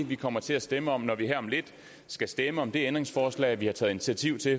vi kommer til at stemme om når vi her om lidt skal stemme om det ændringsforslag vi har taget initiativ til